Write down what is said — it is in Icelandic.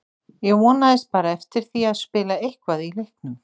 Ég vonaðist bara eftir því að spila eitthvað í leiknum.